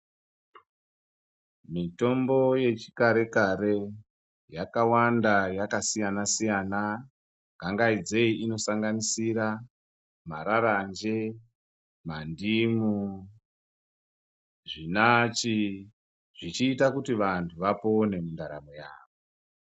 Mitombo yechakare kare yakawanda yakasiyana siyana gangaidzei inosanganisira mararanje, mandimu, zvinachi zvichiita kuti vanthu vapone mundaramo yavo.